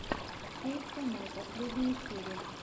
эйт канал последняя серия